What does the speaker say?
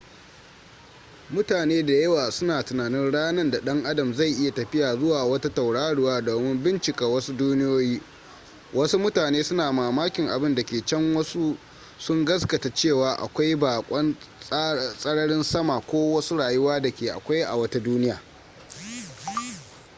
mutane da yawa suna tunanin ranar da ɗan adam zai iya tafiya zuwa wata tauraruwa domin bincika wasu duniyoyi wasu mutane suna mamakin abin da ke can wasu sun gaskata cewa akwai bakon tsararin sama ko wasu rayuwa da ke akwai a wata duniya